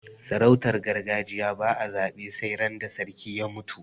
sarautar gargajiya ba a zabe sai ran da sarki ya mutu